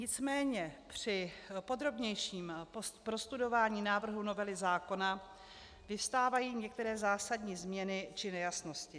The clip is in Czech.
Nicméně při podrobnějším prostudování návrhu novely zákona vyvstávají některé zásadní změny či nejasnosti.